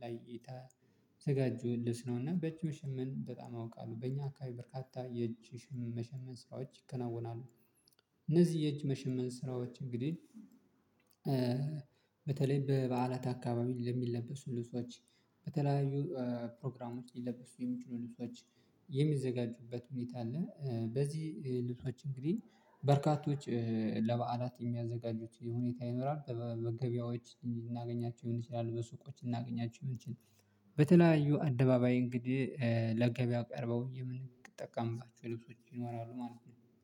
ለእይታ የተዘጋጁ ልብስ ነው እና በጅ መሸመን በጣም አውቃለሁ በእኛ አካባቢ በርካታ የእጅ መሸመን ስራዎች ይከናወናሉ። እነዚህ የእጅ መሸመን ስራዎች እንግዲህ በተለይ በበዓላት አካባቢ ለሚለበሱ ልብሶች በተለያዩ ፕሮግራም ውስጥ ሊለበሱ የሚችኑ ልብሶች የሚዘጋጁበት ሁኔታ አለ። በዚህ ልብሶች እንግዲህ በርካቶች ለበዓላት የሚያዘጋጁት ሁኔታ ይኖራል። በገበያዎች እንዲህ እናገኛቸው ይሆናል በሱቆች እናገኛቸው ይሆናል። በተለያዩ አደባባይ እንግዲህ ለገበያ ቀርበው የምንጠቀምባቸው ልብሶች ይኖራሉ ማለት ነው